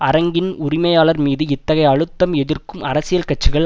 அரங்கின் உரிமையாளர் மீது இத்தகைய அழுத்தம் எதிர்க்கும் அரசியல் கட்சிகள்